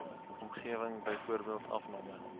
omgewing byvoorbeeld afname